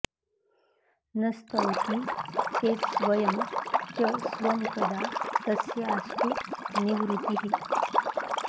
न स्तौति चेत्स्वयं च स्वं कदा तस्यास्तु निर्वृतिः